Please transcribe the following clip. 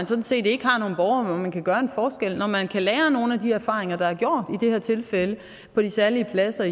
sådan set ikke har nogen borgere man kan gøre en forskel at man kan lære af nogle af de erfaringer der er gjort i det her tilfælde på de særlige pladser